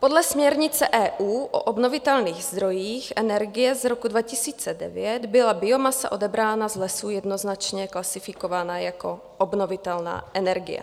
Podle směrnice EU o obnovitelných zdrojích energie z roku 2019 byla biomasa odebraná z lesů jednoznačně klasifikována jako obnovitelná energie.